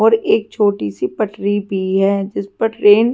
और एक छोटी सी पटरी भी है जिस पर ट्रेन --